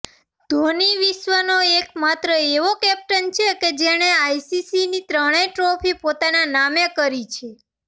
ધોની વિશ્વનો એક માત્ર એવો કેપ્ટન છે જેણે આઈસીસીની ત્રણેય ટ્રોફી પોતાના નામે કરી છે